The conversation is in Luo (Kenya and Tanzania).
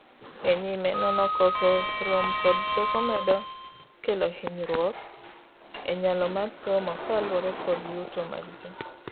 e nyime nono koso rom kod teko medo kelo hingruok e nyalo mar somo kaluore kod yuto mag ji